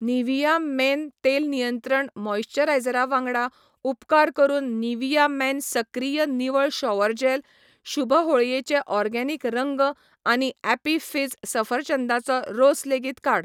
Nivea men तेल नियंत्रण मॉइस्चरायझरा वांगडा, उपकार करून निव्हिया मेन सक्रिय निवळ शॉवर जॅल, शुभ होळयेचे ओर्गेनिक रंग आनी ॲपी फिझ सफरचंदाचो रोस लेगीत काड.